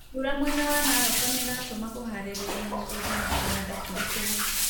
Mbura mwena wa Narok nĩratũma kũharĩria mĩgunda na kũhanda kũritũhe